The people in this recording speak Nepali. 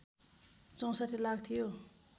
६४ लाख थियो